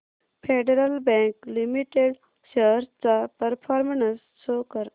federal bank limited shares चा performance show कर